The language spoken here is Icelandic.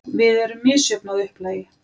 Við erum misjöfn að upplagi.